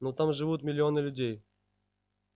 но там живут миллионы людей